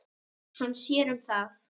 Hann sér um það.